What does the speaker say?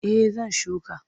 Eh zan shuka.